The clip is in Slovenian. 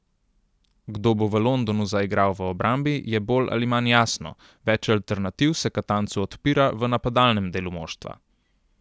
Kdo bo v Londonu zaigral v obrambi, je bolj ali manj jasno, več alternativ se Katancu odpira v napadalnem delu moštva.